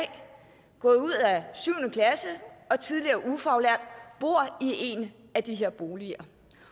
gået ud af syvende klasse er tidligere ufaglært og bor i en af de her boliger